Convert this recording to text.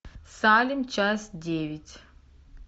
салем часть девять